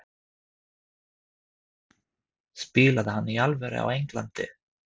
Spilaði hann í alvöru á Englandi?